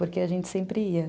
Porque a gente sempre ia.